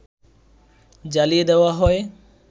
জ্বালিয়ে দেওয়া হয়